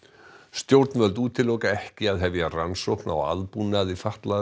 stjórnvöld útiloka ekki að hefja rannsókn á aðbúnaði fatlaðra